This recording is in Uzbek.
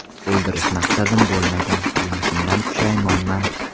O‘ldirish maqsadim bo‘lmagan, qilmishimdan pushaymonman.